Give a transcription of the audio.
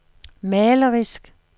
malerisk